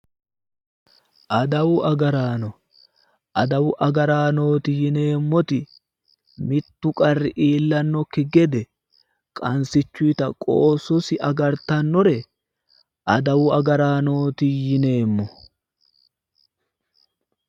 Adawu agaraano adawu agaraanooti yineemmoti mittu qarri iillannokki gede qansichuyita qoossosi agartannore adawu agaraanooti yineemmo